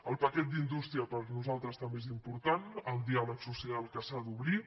el paquet d’indústria per nosaltres també és important el diàleg social que s’ha d’obrir